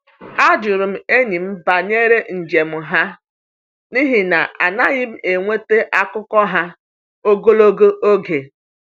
A jụrụ m enyi m banyere njem ha n’ihi na anaghị m enweta akụkọ ha ogologo oge.